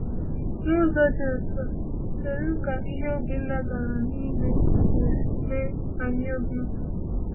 N’ụzọ ndị dị otú a, kedụ ka ihe Obinna gara n’ime ga-esi mee anyị obi ụtọ?